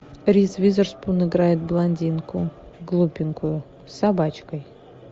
риз уизерспун играет блондинку глупенькую с собачкой